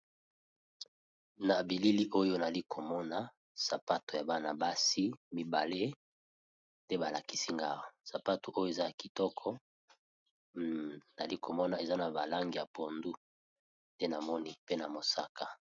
Na bilili oyo nali komona sapato ya bana basi mibale nte ba lakisi nga awa, sapato oyo eza ya kitoko nali komona eza na ba langi ya pondu te na moni pe na mosaka.